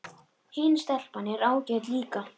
Hin stelpan er ágæt líka